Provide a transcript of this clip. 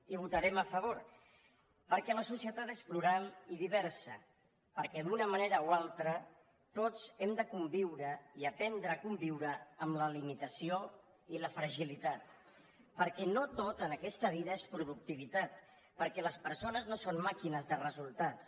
hi votarem a favor perquè la societat és plural i diversa perquè d’una manera o altra tots hem de conviure i aprendre a conviure amb la limitació i la fragilitat perquè no tot en aquesta vida és productivitat perquè les persones no són màquines de resultats